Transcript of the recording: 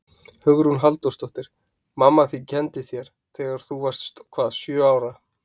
Hugrún Halldórsdóttir: Mamma þín kenndi þér, þegar þú varst hvað sjö ára?